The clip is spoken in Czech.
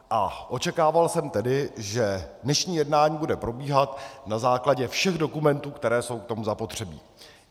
A očekával jsem tedy, že dnešní jednání bude probíhat na základě všech dokumentů, které jsou k tomu zapotřebí.